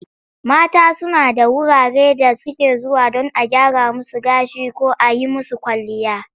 Mata suna da wurare da suke zuwa don a gyra musu gashi ko a yi musu kwalliya.